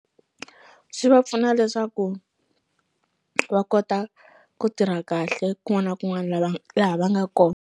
Swi va pfuna leswaku va kota ku tirha kahle kun'wana na kun'wana lava laha va nga ko.